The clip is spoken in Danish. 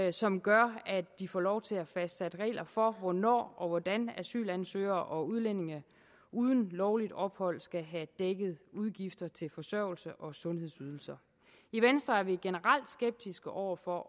og som gør at de får lov til at fastsætte regler for hvornår og hvordan asylansøgere og udlændinge uden lovligt ophold skal have dækket udgifter til forsørgelse og sundhedsydelser i venstre er vi generelt skeptiske over for